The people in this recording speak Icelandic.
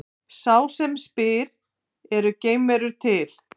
Sá sem spyr Eru geimverur til?